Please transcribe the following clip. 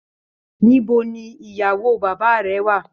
Níbo ní ìyàwó bàbá rẹ wà?